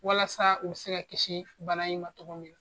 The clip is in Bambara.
Walasa u be se ka kisi bana in ma tɔgɔ min na.